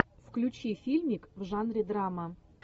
включи фильмик в жанре драма